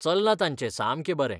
चल्लां तांचें सामकें बरें.